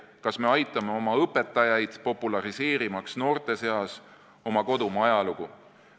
Kas me aitame oma õpetajaid, populariseerimaks noorte seas oma kodumaa ajalugu?